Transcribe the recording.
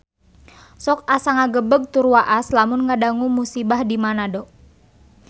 Sok asa ngagebeg tur waas lamun ngadangu musibah di Manado